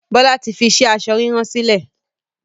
Bọlá tí fi iṣẹ́ aṣọ ríran sílẹ̀